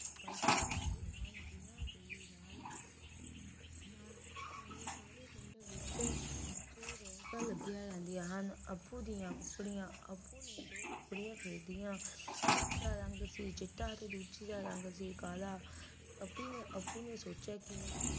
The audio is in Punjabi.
ਵਿੱਚ ਬਹੁਤ ਰੌਣਕਾਂ ਲੱਗੀਆਂ ਰਹਿੰਦੀਆਂ ਹਨ ਅਪੁ ਦੀਆਂ ਕੁਕੜੀਆਂ ਅਪੁ ਨੇ ਦੋ ਕੁੜੀਆਂ ਖਰੀਦੀਆਂ ਇੱਕ ਦਾ ਰੰਗ ਦਾ ਛਿੱਟਾ ਚਿੱਟਾ ਤੇ ਦੂਸਰੀ ਦਾ ਸੀ ਕਾਲਾ ਆਪੀਨੇ ਅਪੁ ਨੇ ਸੋਚਿਆ ਕਿ